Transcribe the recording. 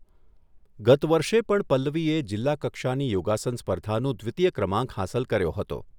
ગત વર્ષે પણ પલ્લવીએ જિલ્લાકક્ષાની યોગાસન સ્પર્ધાનું દ્વિતીય ક્રમાંક હાંસલ કર્યો હતો.